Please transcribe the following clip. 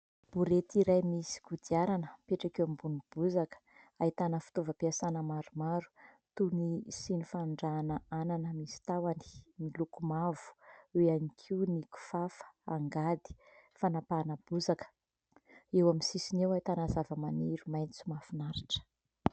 Borety iray misy kodiarana mipetraka eo ambonin'ny bozaka ahitana fitaovam-piasana maromaro toy ny siny fanondrahana anana misy tahony miloko mavo. Eo ihany koa ny kifafa, angady, fanapahana bozaka, eo amin'ny sisiny eo ahitana zavamaniry maitso mahafinaritra.